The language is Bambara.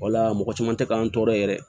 Wala mɔgɔ caman tɛ k'an tɔɔrɔ yɛrɛ